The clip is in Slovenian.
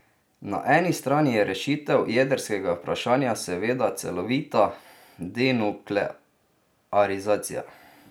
Na eni strani je rešitev jedrskega vprašanja seveda celovita denuklearizacija.